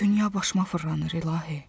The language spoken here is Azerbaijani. Dünya başıma fırlanır, İlahi.